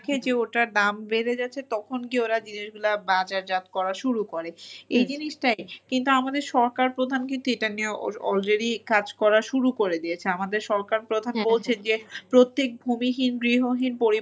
দেখে যে ওটার দাম বেড়ে যেছে তখন গিয়ে ওরা জিনিসগুলা বাজারজাত করা শুরু করে। এই জিনিসটাই কিন্তু আমাদের সরকার প্রধান কিন্তু এটা নিয়ে al~ already কাজ করা শুরু করে দিয়েছে। আমাদের সরকার প্রধান যে প্রত্যেক ভুমিহীন গৃহহীন,